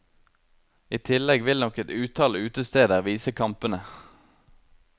I tillegg vil nok et utall utesteder vise kampene.